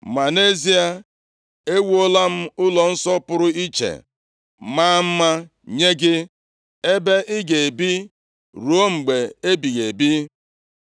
Ma nʼezie, ewuola m ụlọnsọ pụrụ iche, maa mma nye gị, ebe ị ga-ebi ruo mgbe ebighị ebi.”